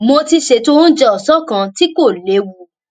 mo ti ṣètò oúnjẹ òsán kan tí kò léwu